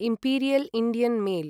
imperial Indian mail